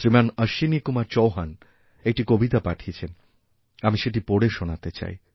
শ্রীমান অশ্বিনী কুমার চৌহান একটি কবিতাপাঠিয়েছেন আমি সেটি পড়ে শোনাতে চাই